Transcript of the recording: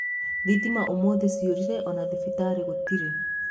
Thitima ũmũthi ciorire ona thibitarĩ gũtire